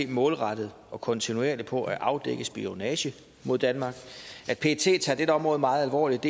målrettet og kontinuerligt på at afdække spionage mod danmark at pet tager dette område meget alvorligt